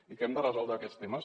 i hem de resoldre aquests temes